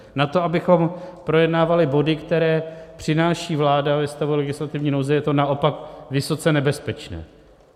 Na to, abychom projednávali body, které přináší vláda ve stavu legislativní nouze, je to naopak vysoce nebezpečné.